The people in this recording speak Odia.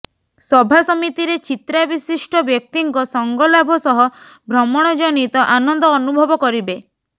ସଭାସମିତିରେ ଚିତ୍ରା ବିଶିଷ୍ଟ ବ୍ୟକ୍ତିଙ୍କ ସଙ୍ଗଲାଭ ସହ ଭ୍ରମଣଜନିତ ଆନନ୍ଦ ଅନୁଭବ କରିବେ